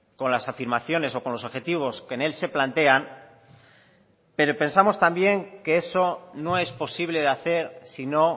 con las afirmaciones o con los objetivos que en él se plantean pero pensamos también que eso no es posible de hacer si no